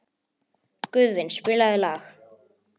Guðvin, spilaðu lag.